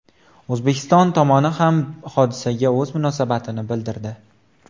O‘zbekiston tomoni ham hodisaga o‘z munosabatini bildirdi .